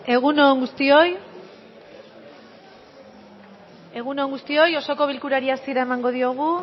egun on guztioi osoko bilkurari hasiera emango diogu